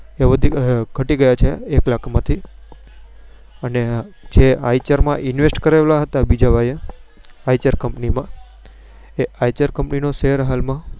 તે ગાટી ગયા છે એક લાખ માંથી અને જ Eicher invest કર્યા હતા તે બીજા ભાઈય Eicher Company નો share હાલ માં